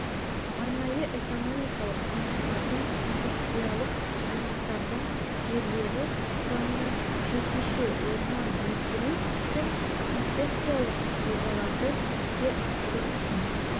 арнайы экономикалық аймақтардың индустриялық аймақтардың жерлері құрамынан жекеше орман өсіру үшін концессиялық жобаларды іске асыру үшін